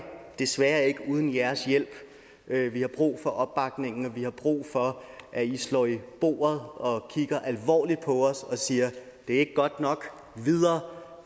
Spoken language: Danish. desværre ikke uden jeres hjælp vi har brug for opbakningen og vi har brug for at i slår i bordet og kigger alvorligt på os og siger det er ikke godt nok videre